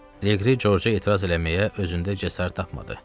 Liqri Corca etiraz eləməyə özündə cəsarət tapmadı.